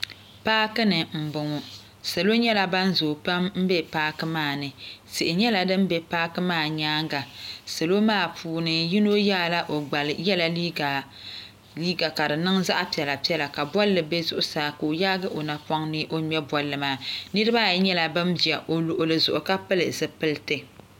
Paaki ni n boŋo salo nyɛla ban zooi pam n bɛ paaki ni tihi nyɛla din bɛ paaki nyaanga yino yɛla liiga ka di niŋ zaɣ piɛla piɛla ka bolli bɛ zuɣusaa ka o yaagi o napoŋ ni o ŋmɛ bolli maa nirabaayi nyɛla ban ʒɛ o luɣuli zuɣu ka pili zipiliti